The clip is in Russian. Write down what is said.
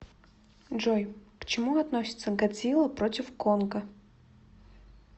джой к чему относится годзилла против конга